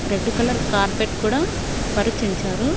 Red colour carpet కూడా పరిచుంచారు.